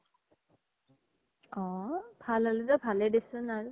অ ভাল হলিতো ভালে দেচোন আৰু